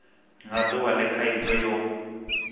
nga duvha le khaidzo yo